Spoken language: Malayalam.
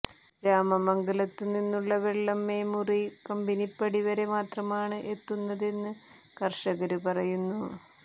രാമമംഗലത്തു നിന്നുള്ള വെള്ളം മേമ്മുറി കമ്പനിപ്പടി വരെ മാത്രമാണ് എത്തുന്നതെന്ന് കര്ഷകര് പറയുന്നു